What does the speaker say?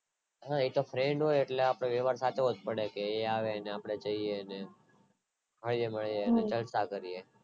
હા એ તો friend હોય એટલે આપણે વેવાર થતો હોય એ આયા આવે ને આપડે ત્યાં જઇયે ને જઇયે અને જલસા કરીયે